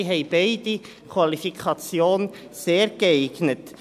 Sie haben beide die Qualifikation «sehr geeignet».